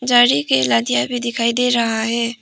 झाड़ी के नदिया भी दिखाई दे रहा है।